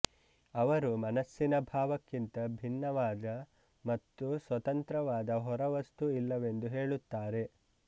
ಅವರು ಮನಸ್ಸಿನ ಭಾವಕ್ಕಿಂತ ಭಿನ್ನವಾದ ಮತ್ತು ಸ್ವತಂತ್ರವಾದ ಹೊರವಸ್ತು ಇಲ್ಲವೆಂದು ಹೇಳುತ್ತಾರೆ